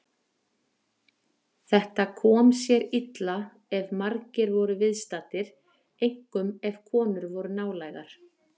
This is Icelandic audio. Þetta kom sér illa ef margir voru viðstaddir, einkum ef konur voru nálægar.